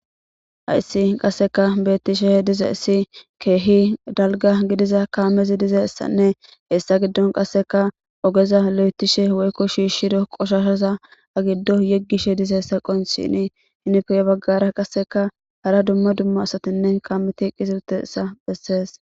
Ayssi qasseka beettisheh diza issi keehi dalga gidiza kaamezi dizeessanne hessa giddon qasseka ogeza lo'etishe woykko shiishshido qoshashaza agiddo yeggishe dizeessa qon shini hinipe baggara qasseka hara dumma dumma asatinne kaameti qisiltessa bessees.